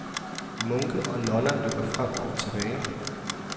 Munke og nonner løber frem og tilbage.